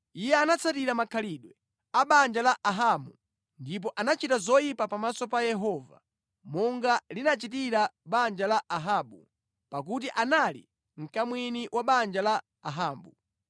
Iye anatsatira makhalidwe a banja la Ahabu ndipo anachita zoyipa pamaso pa Yehova, monga linachitira banja la Ahabu, pakuti anali mkamwini wa banja la Ahabu.